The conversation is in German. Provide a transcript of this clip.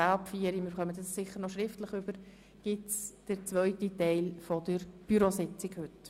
Um 16.00 Uhr oder 16.10 Uhr beginnt der zweite Teil der heutigen Bürositzung.